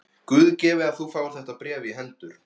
Guð gefi að þú fáir þetta bréf í hendur.